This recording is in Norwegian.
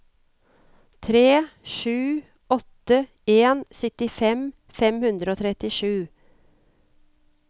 tre sju åtte en syttifem fem hundre og trettisju